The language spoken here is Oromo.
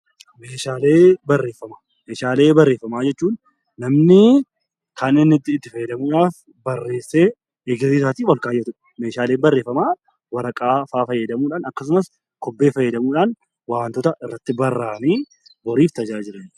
Meeshaalee barreeffamaa jechuun namni kan inni itti fayyadamuudhaaf barreessee kaa'udha. Meeshaaleen barreeffamaa waraqaa fayyadamuudhaan akkasumas kobbee fayyadamuudhaan wantoota irratti barraayanii hojiif oolanidha.